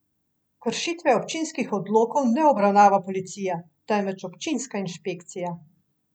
Kršitve občinskih odlokov ne obravnava policija, temveč občinska inšpekcija.